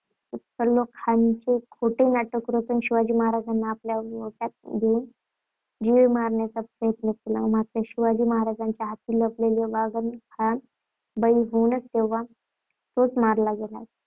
सलोख्याचे खोटे नाटक रचून शिवाजी महाराजांना आपल्या गोटात घेवून जिवे मारण्याचा प्रयत्न केला, मात्र शिवाजी महाराजांच्या हाती लपलेल्या वाघनखाला बळी होऊन तोच मारला गेला. त्यामुळे